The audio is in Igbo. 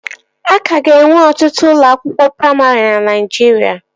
Aka ga-enwe ọtụtụ ụlọ akwụkwọ praimarị na Naijiria